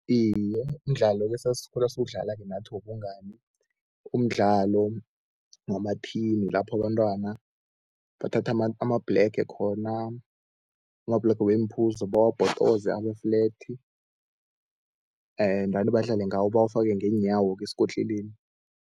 Iye, mdlalo-ke esasikhula siwudlala-ke nathi wobungani, umdlalo wamathini lapho abantwana bathatha amabhlege khona, amabhlege weemphuzo bawabhodoze abe-flat, ndani badlale ngawo bawafake ngeenyawo-ke esikotlelweni.